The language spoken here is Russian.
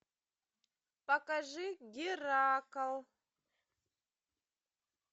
покажи геракл